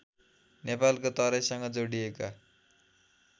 नेपालको तराईसँग जोडिएको